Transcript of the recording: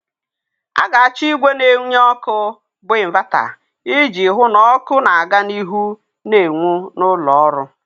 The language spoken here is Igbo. A ga-achọ ìgwè na enye ọkụ bụ ịnvata iji hụ na ọkụ na-aga n'ihu na enwu na ụlọ ọrụ.